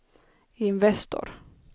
Investor